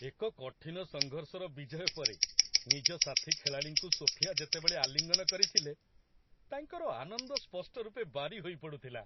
ଏକ କଠିନ ସଂଘର୍ଷର ବିଜୟ ପରେ ନିଜ ସାଥୀ ଖେଳାଳିଙ୍କୁ ସୋଫିଆ ଯେତେବେଳେ ଆଲିଙ୍ଗନ କରିଥିଲେ ତାଙ୍କର ଆନନ୍ଦ ସ୍ପଷ୍ଟରୂପେ ବାରି ହୋଇପଡ଼ୁଥିଲା ।